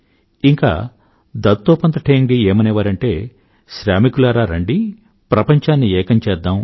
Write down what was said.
ఇంకా దత్తోపంత్ ఠేంగ్డీ గారు ఏమనేవారంటే శ్రామికులారా రండి ప్రపంచాన్ని ఏకం చేద్దాం